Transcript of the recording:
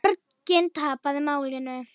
Borgin tapaði málinu.